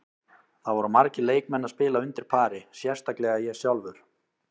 Það voru margir leikmenn að spila undir pari, sérstaklega ég sjálfur.